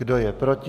Kdo je proti?